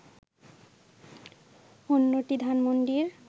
অন্যটি ধানমণ্ডির